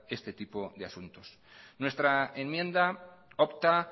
este tipo de asuntos nuestra enmienda opta